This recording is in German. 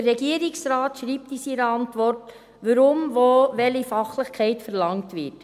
Der Regierungsrat schreibt in seiner Antwort, weshalb wo welche Fachlichkeit verlangt wird.